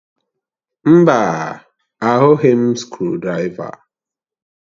Mba, ahụghị m skrụdiraiva